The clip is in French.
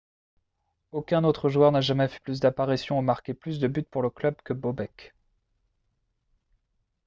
aucun autre joueur n'a jamais fait plus d'apparitions ou marqué plus de buts pour le club que bobek